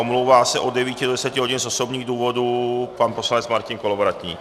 Omlouvá se od 9 do 10 hodin z osobních důvodů pan poslanec Martin Kolovratník.